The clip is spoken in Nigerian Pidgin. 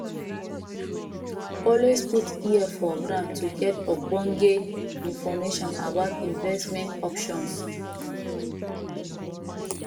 always put ear for ground to get ogbonge information about investment options